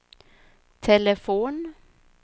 telefon